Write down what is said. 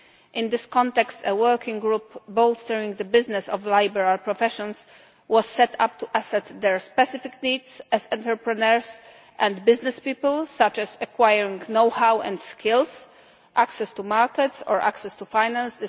In this context, a working group Bolstering the Business of the Liberal Professions' was set up to assess their specific needs as entrepreneurs and businesspeople, such as acquiring know-how and skills, access to markets or access to finance.